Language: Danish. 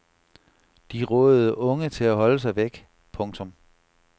De rådede unge til at holde sig væk. punktum